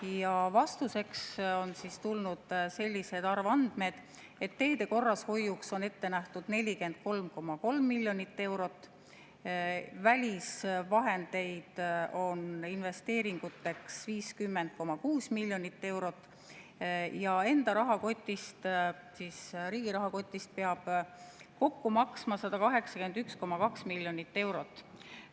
Ja vastuseks on tulnud sellised arvandmed: teede korrashoiuks on ette nähtud 43,3 miljonit eurot, välisvahendeid on investeeringuteks 50,6 miljonit eurot ja enda rahakotist, riigi rahakotist peab kokku maksma 181,2 miljonit eurot.